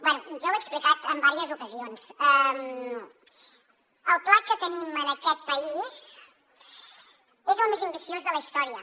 bé jo ho he explicat en diverses ocasions el pla que tenim en aquest país és el més ambiciós de la història